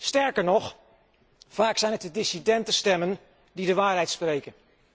Sterker nog, vaak zijn het de dissidente stemmen die de waarheid spreken.